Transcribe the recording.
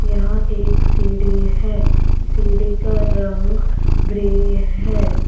यहां एक सीढ़ी है सीढ़ी का रंग ग्रे है।